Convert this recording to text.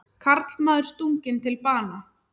Karlmaður stunginn til bana